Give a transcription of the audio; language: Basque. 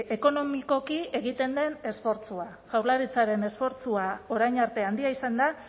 ekonomikoki egiten den esfortzua jaurlaritzaren esfortzua orain arte handia izan da